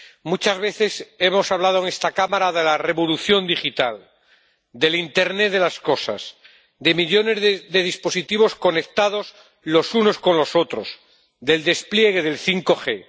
Muchas veces hemos hablado en esta Cámara de la revolución digital, del internet de las cosas, de millones de dispositivos conectados los unos con los otros, del despliegue del 5G.